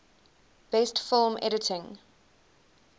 best film editing